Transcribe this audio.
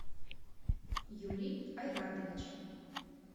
юрий айратович